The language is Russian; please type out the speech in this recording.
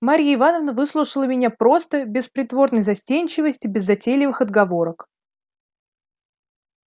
марья ивановна выслушала меня просто без притворной застенчивости без затейливых отговорок